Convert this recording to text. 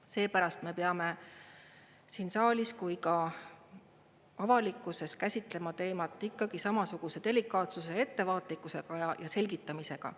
Seepärast me peame siin saalis kui ka avalikkuses käsitlema teemat ikkagi samasuguse delikaatsuse ja ettevaatlikkusega ja selgitamisega.